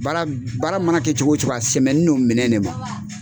Baara baara mana kɛ cogo cogo a sɛmɛni n'o minɛn ne ma.